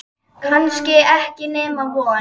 Kannski ekki nema von.